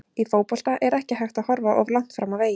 Í fótbolta er ekki hægt að horfa of langt fram á veginn.